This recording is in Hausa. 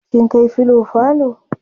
kin kai filo falo?